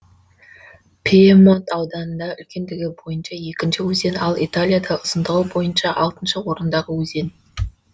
пьемонт ауданында үлкендігі бойынша екінші өзен ал италияда ұзындығы бойынша алтыншы орындағы өзен